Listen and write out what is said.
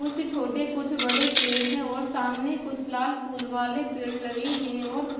कुछ छोटे कुछ बड़े पेड़ हैं और सामने कुछ लाल फूल वाले पेड़ लगे हैं और --